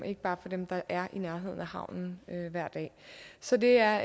ikke bare for dem der er i nærheden af havnen hver dag så det er